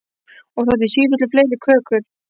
Og sótti í sífellu fleiri kökur.